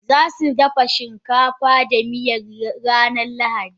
Zasu dafa shinkafa da miya ranar lahadi.